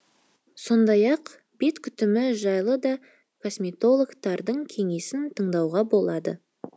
сондай ақ бет күтімі жайлы да косметологтардың кеңесін тыңдауға болады